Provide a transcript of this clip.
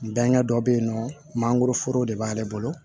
N bɛnkɛ dɔ bɛ yen nɔ mangoroforo de b'ale bolo